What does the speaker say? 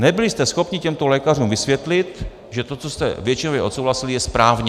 Nebyli jste schopni těmto lékařům vysvětlit, že to, co jste většinově odsouhlasili, je správně.